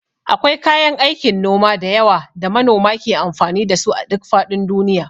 Akwai kayan aikin noma da yawa da manoma ke amfani da su a duk faɗin duniya.